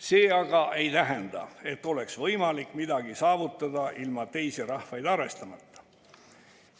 See aga ei tähenda, et oleks võimalik midagi saavutada ilma teisi rahvaid arvestamata.